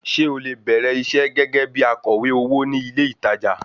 Ṣé o lè bẹ̀rẹ̀ iṣẹ́ gẹ́gẹ́ bí akọ̀wé owó ní ilé ìtajà?